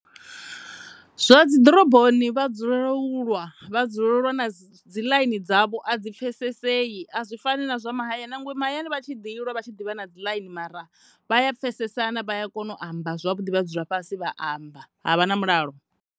Zwa dzi ḓoroboni vha dzulela u lwa, vha dzulela u lwa dzi ḽaini dzavho a dzi pfhesesei a dzi fani na dza mahayani nangwe mahayani vha tshi ḓi lwa vha tshi ḓi vha na dzi ḽaini mara vha a pfhesesena vha a kona u dzula fhasi vha amba ha vha na mulalo.